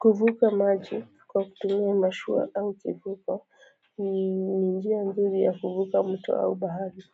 Kuvuka maji kwa kutumia mashua au kifuka ni njia nzuri ya kuvuka mto au bahari